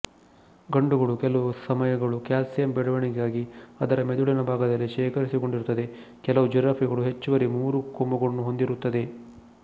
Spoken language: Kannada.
ಗಂಡುಗಳು ಕೆಲವು ಸಮಯಗಳು ಕ್ಯಾಲ್ಸಿಯಂ ಬೆಳೆವಣಿಗೆಗಾಗಿ ಅದರ ಮಿದುಳಿನ ಭಾಗದಲ್ಲಿ ಶೇಖರಸಿಕೊಂಡಿರುತ್ತದೆ ಕೆಲವು ಜಿರಾಫೆಗಳು ಹೆಚ್ಚುವರಿ ಮೂರು ಕೊಂಬುಗಳನ್ನು ಹೊಂದಿರುತ್ತದೆ